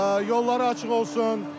Yolları açıq olsun!